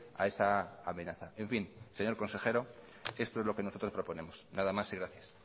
a esa amenaza en fin señor consejero esto es lo que nosotros proponemos nada más y gracias